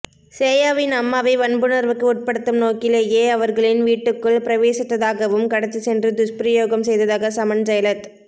சேயாவின் அம்மாவை வன்புணர்வுக்கு உட்படுத்தும் நோக்கிலேயே அவர்களின் வீட்டுக்குள் பிரவேசித்ததாகவும்கடத்திச் சென்று துஷ்பிரயோகம் செய்ததாக சமன் ஜயலத்